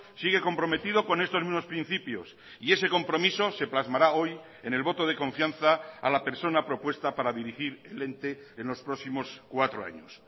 sigue comprometido con estos mismos principios y ese compromiso se plasmará hoy en el voto de confianza a la persona propuesta para dirigir el ente en los próximos cuatro años